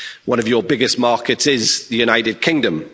One of your biggest markets is the United Kingdom.